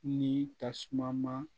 Ni tasuma ma